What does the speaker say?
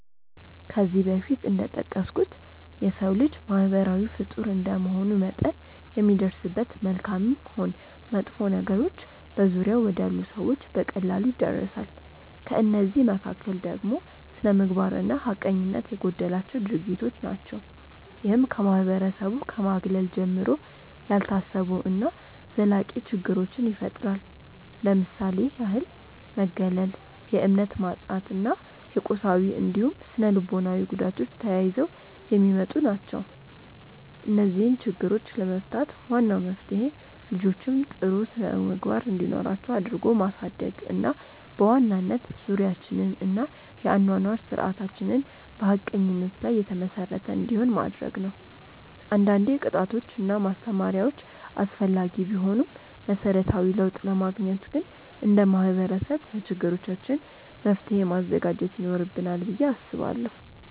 ከዚህ በፊት እንደጠቀስኩት የሰው ልጅ ማህበራዊ ፍጡር እንደመሆኑ መጠን የሚደርስበት መልካምም ሆን መጥፎ ነገሮች በዙሪያው ወዳሉ ሰዎች በቀላሉ ይዳረሳል። ከእነዚህ መካከል ደግሞ ስነምግባር እና ሀቀኝነት የጎደላቸው ድርጊቶች ናቸው። ይህም ከማህበረሰቡ ከማግለል ጀምሮ፣ ያልታሰቡ እና ዘላቂ ችግሮችን ይፈጥራል። ለምሳሌ ያህል መገለል፣ የእምነት ማጣት እና የቁሳዊ እንዲሁም ስነልቦናዊ ጉዳቶች ተያይዘው የሚመጡ ናቸው። እነዚህን ችግሮች ለመፍታት ዋናው መፍትሄ ልጆችን ጥሩ ስነምግባር እንዲኖራቸው አድርጎ ማሳደግ እና በዋናነት ዙሪያችንን እና የአኗኗር ስርዓታችንን በሀቀኝነት ላይ የተመሰረተ እንዲሆን ማድረግ ነው። አንዳንዴ ቅጣቶች እና ማስተማሪያዎች አስፈላጊ ቢሆኑም መሰረታዊ ለውጥ ለማግኘት ግን እንደ ማህበረሰብ ለችግሮቻችን መፍትሔ ማዘጋጀት ይኖርብናል ብዬ አስባለሁ።